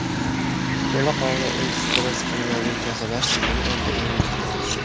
To‘laqonli ekspress-kimyoviy tozalash tizimi endi uyingizda.